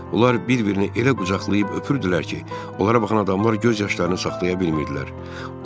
Onlar bir-birini elə qucaqlayıb öpürdülər ki, onlara baxan adamlar göz yaşlarını saxlaya bilmirdilər.